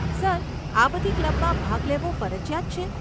Sir, આ બધી ક્લબમાં ભાગ લેવો ફરજીયાત છે?